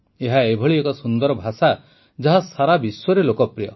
ଏହା ଏଭଳି ଏକ ସୁନ୍ଦର ଭାଷା ଯାହା ସାରା ବିଶ୍ୱରେ ଲୋକପ୍ରିୟ